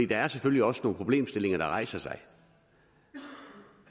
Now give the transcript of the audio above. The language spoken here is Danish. der er selvfølgelig også nogle problemstillinger der rejser sig